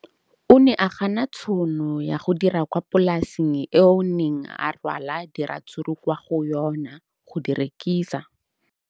O ne a gana tšhono ya go dira kwa polaseng eo a neng rwala diratsuru kwa go yona go di rekisa.